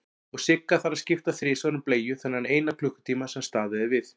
Og Sigga þarf að skipta þrisvar um bleiu þennan eina klukkutíma sem staðið er við.